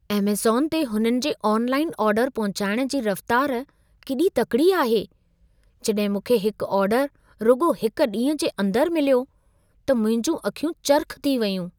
Amazon ते हुननि जे ऑनलाइन ऑर्डर पहुचाइण जी रफ़्तार केॾी तकिड़ी आहे! जॾहिं मूंखे हिकु ऑर्डर रुॻो हिक ॾींहं जे अंदर मिलियो, त मुंहिंजूं अखियूं चरिख़ थी वयूं।